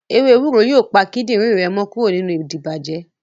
Ewe ewúro yóò pa kídìrín rẹ mọ́ kúrò nínú ìdibàjẹ́